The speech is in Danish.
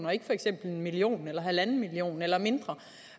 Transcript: og ikke for eksempel en million kroner eller en million kroner eller mindre